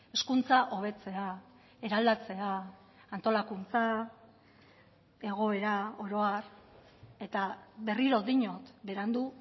hezkuntza hobetzea eraldatzea antolakuntza egoera oro har eta berriro diot berandu